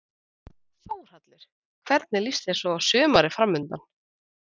Þórhallur: Og hvernig líst þér svo á sumarið framundan?